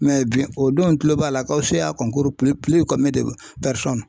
bi o don n tulo b'a la ko CA